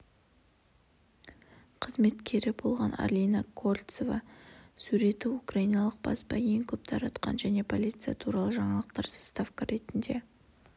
қызметкері болған арина кольцованың суреті украиналық баспа ең көп таратқан және полиция туралы жаңалықтарға заставка ретінде